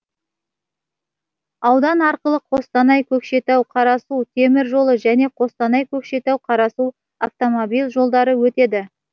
аудан арқылы қостанай көкшетау қарасу темір жолы және қостанай көкшетау қарасу автомобиль жолдары өтеді